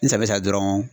N sabɛ sa dɔrɔn